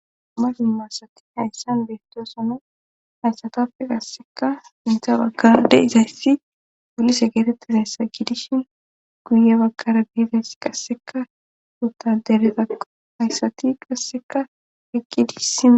Mabimasati hayssan beettoosano hayssatappe qasseka intha baggade izayssi polise geetettizayssa gidishin guye baggara biides qasseka utaderetaqo hayssati qasseka heqqi diissima